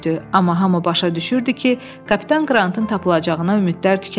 Amma hamı başa düşürdü ki, kapitan Qrantın tapılacağına ümidlər tükənib.